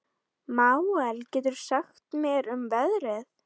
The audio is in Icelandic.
Manuel, hvað geturðu sagt mér um veðrið?